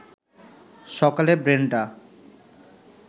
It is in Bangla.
সকালে ব্রেনডা